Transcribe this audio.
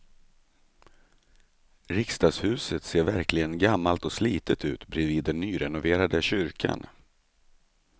Riksdagshuset ser verkligen gammalt och slitet ut bredvid den nyrenoverade kyrkan.